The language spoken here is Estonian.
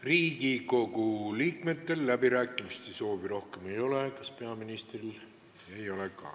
Riigikogu liikmetel rohkem läbirääkimiste soovi ei ole, peaministril ka ei ole.